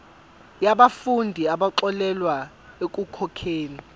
yabafundi abaxolelwa ekukhokheni